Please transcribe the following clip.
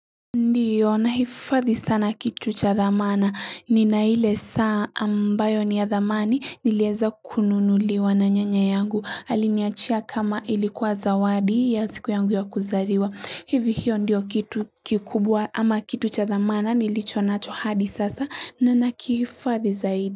Ndiyo nahifadhi sana kitu cha dhamana. Nina ile saa ambayo ni ya thamani nilieza kununuliwa na nyanya yangu. Aliniachia kama ilikuwa zawadi ya siku yangu ya kuzaliwa. Hivi hiyo ndiyo kitu kikubwa ama kitu cha thamana nilicho nacho hadi sasa na ninakihifadhi zaidi.